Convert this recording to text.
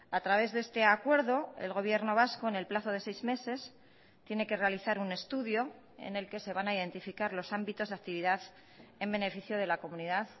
a través de este acuerdo el gobierno vasco en el plazo de seis meses tiene que realizar un estudio en el que se van a identificar los ámbitos de actividad en beneficio de la comunidad